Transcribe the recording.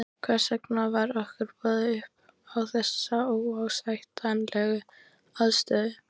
Hvers vegna var okkur boðið upp á þessa óásættanlegu aðstöðu?